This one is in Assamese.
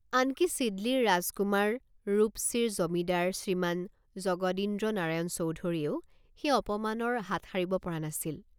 আনকি ছিদলীৰ ৰাজকুমাৰ ৰূপচীৰ জমিদাৰ শ্ৰীমান জগদীন্দ্ৰনাৰায়ণ চৌধুৰীয়েও সেই অপমানৰ হাত সাৰিব পৰা নাছিল।